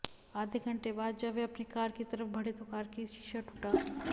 आधे घंटे बाद जब वह अपनी कार की तरफ बढ़े तो कार की शीशा टूटा